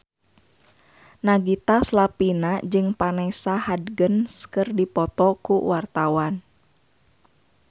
Nagita Slavina jeung Vanessa Hudgens keur dipoto ku wartawan